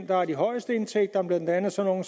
der har de højeste indtægter blandt andet sådan